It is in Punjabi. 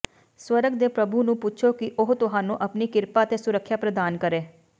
ਸਵਰਗ ਦੇ ਪ੍ਰਭੂ ਨੂੰ ਪੁੱਛੋ ਕਿ ਉਹ ਤੁਹਾਨੂੰ ਆਪਣੀ ਕਿਰਪਾ ਅਤੇ ਸੁਰੱਖਿਆ ਪ੍ਰਦਾਨ ਕਰੇ